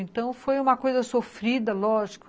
Então, foi uma coisa sofrida, lógico.